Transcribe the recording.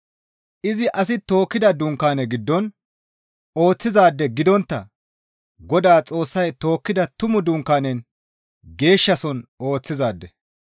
Izi asi tokkida dunkaane giddon ooththizaade gidontta Godaa Xoossay tokkida tumu dunkaanen geeshshasohon ooththizaade.